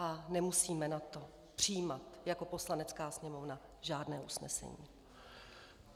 A nemusíme na to přijímat jako Poslanecká sněmovna žádné usnesení.